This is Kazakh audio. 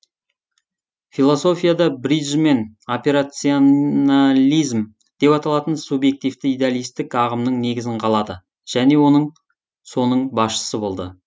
философияда бриджмен операционализм деп аталатын субъективті идеалистік ағымның негізін қалады және эсоның басшысы болды